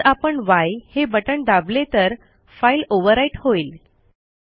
जर आपण य हे बटण दाबले तर फाईल ओव्हरराईट होईल